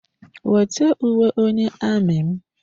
Wete uwe onye amị m!